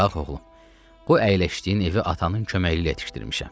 Bax, oğlum, bu əyləşdiyin evi atanın köməkliyi ilə yetişdirmişəm.